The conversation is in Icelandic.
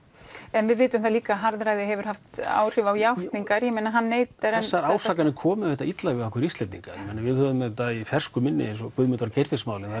en við vitum það líka að harðræði hefur haft áhrif á játningar hann neitar enn þessar ásakanir komu auðvitað illa við okkur Íslendinga við höfum auðvitað í fersku minni Guðmundar og Geirfinnsmálið þar